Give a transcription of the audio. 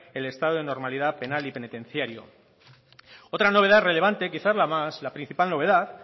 el estado de normalidad penal y penitenciario otra novedad relevante quizás la principal novedad